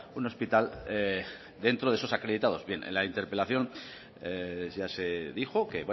un hospital dentro de esos acreditados en la interpelación ya se dijo que